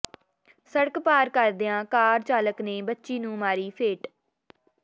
ਸੜਕ ਪਾਰ ਕਰਦਿਆਂ ਕਾਰ ਚਾਲਕ ਨੇ ਬੱਚੀ ਨੂੰ ਮਾਰੀ ਫੇਟ